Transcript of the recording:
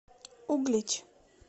углич